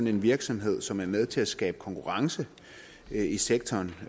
en virksomhed som er med til at skabe konkurrence i sektoren